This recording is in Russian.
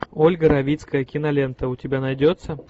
ольга равицкая кинолента у тебя найдется